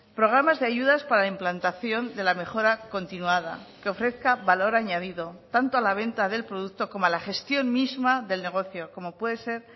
programas de ayudas para la implantación de la mejora continuada que ofrezca valor añadido tanto a la venta del producto como a la gestión misma del negocio como puede ser